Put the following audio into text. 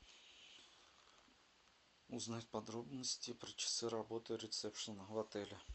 узнать подробности про часы работы ресепшена в отеле